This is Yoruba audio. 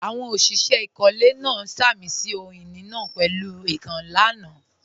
Àwọn òṣìṣẹ́ ìkọ́lé náà sàmì sí ohun ìní náà pẹ̀lú èèkàn lánàá